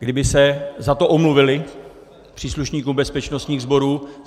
Kdyby se za to omluvili příslušníkům bezpečnostních sborů.